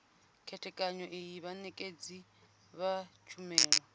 khethekanyo iyi vhanekedzi vha tshumelo